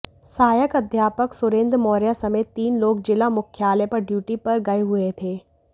सहायक अध्यापक सुरेंद्र मौर्या समेत तीन लोग जिला मुख्यालय पर ड्यूटी पर गए हुए थे